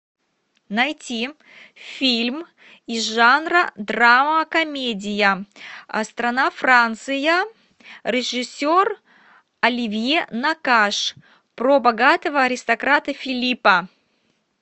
найти фильм из жанра драма комедия страна франция режиссер оливье накаш про богатого аристократа филиппа